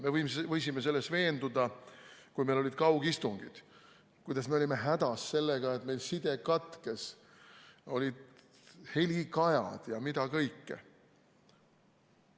Me võisime selles veenduda, kui meil olid kaugistungid ja me olime hädas sellega, et meil side katkes, heli kajas ja mida kõike veel.